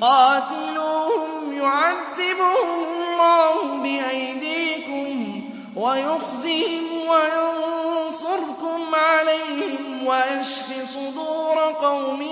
قَاتِلُوهُمْ يُعَذِّبْهُمُ اللَّهُ بِأَيْدِيكُمْ وَيُخْزِهِمْ وَيَنصُرْكُمْ عَلَيْهِمْ وَيَشْفِ صُدُورَ قَوْمٍ